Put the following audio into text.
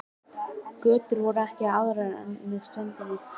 Götur voru ekki aðrar en með ströndinni.